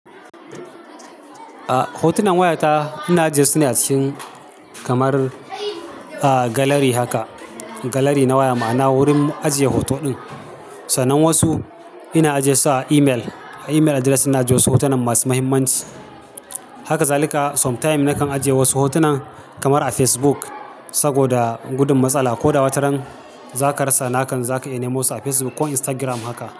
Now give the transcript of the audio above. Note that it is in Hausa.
Ah hotunan wayata ina ajiye su ne a cikin kamar, ah gallery haka. Gallery na waya ma'ana wurin ajiye hoto ɗin. Sannan wasu ina ajiye su a email. Email address ina ajiyesu hotunan masu muhimmanci. Haka zalika sometime na kan ajiye wasu hotunan kamar a Facebook saboda gudun matsala ko da wataran za ka rasa. Da hakan za ka iya nemo su a Facebook ko Instagram haka.